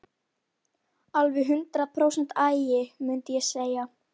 Alveg hundrað prósent agi, mundi ég segja.